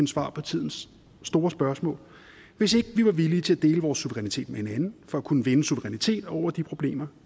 svar på tidens store spørgsmål hvis ikke vi var villige til at dele vores suverænitet med hinanden for at kunne vinde suverænitet over de problemer